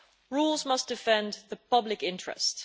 Rules must defend the public interest.